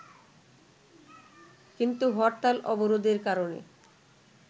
কিন্তু হরতাল-অবরোধের কারণে